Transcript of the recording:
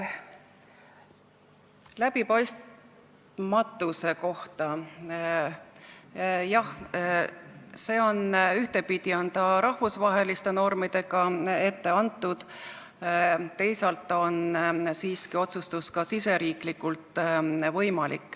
Läbipaistmatuse kohta: jah, ühtepidi on see rahvusvaheliste normidega ette antud, teisalt on siiski võimalik see otsustus teha ka riigisiseselt.